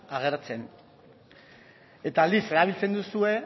agertzen eta aldiz erabiltzen duzue